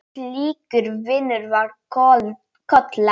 Slíkur vinur var Kolla.